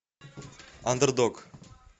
андердог